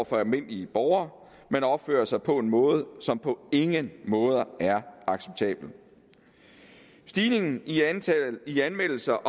for almindelige borgere man opfører sig på en måde som på ingen måde er acceptabel stigningen i antallet af anmeldelser